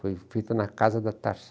Foi feita na casa da